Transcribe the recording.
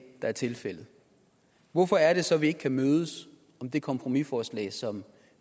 der er tilfældet hvorfor er det så at vi ikke kan mødes om det kompromisforslag som